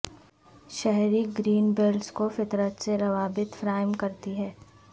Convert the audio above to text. شہری green belts کو فطرت سے روابط فراہم کرتی ہیں